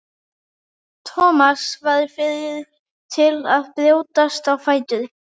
Thomas varð fyrri til að brjótast á fætur.